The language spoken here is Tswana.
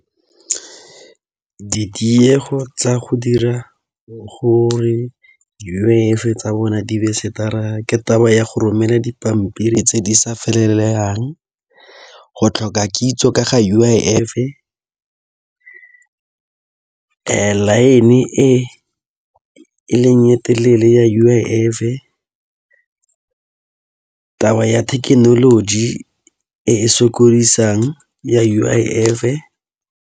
Ditiego tsa go dira gore U_I_F tsa bona di be ke taba ya go romela dipampiri tse di sa felelelang, go tlhoka kitso ka ga U_I_F. Line e leng e telele ya U_I_F taba ya thekenoloji e e sokodisang ya U_I_F.